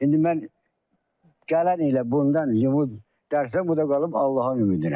İndi mən gələn ilə bundan limon dərsəm, bu da qalıb Allahın ümidinə.